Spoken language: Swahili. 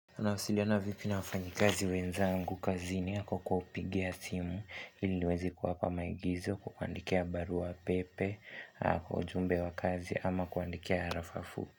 Anasiliana vipi na wafanyi kazi wenza angu kazi ni hako kupigia timu iliwezi kwa hapa maigizo kwaandikea baru wa pepe hako ujumbe wa kazi ama kwaandikea harafafu.